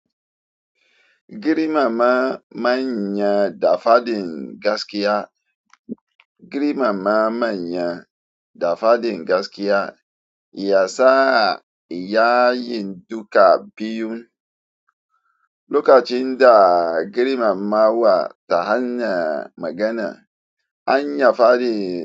Girimama manya da faɗin gaskiya. Girimama manya da faɗin gaskiya. Ya sa yayin duka biyun. Lokacin da girmamawa ta hanyar magana, an iya faɗin.